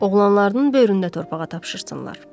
Oğlanlarının böyründə torpağa tapşırsınlar.